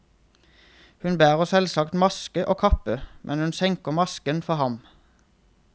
Hun bærer selvsagt maske og kappe, men hun senker masken for ham.